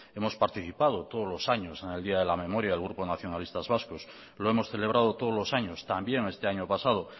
hemos participado todos los años en el día de la memoria el grupo nacionalistas vascos lo hemos celebrado todos los años también este año pasado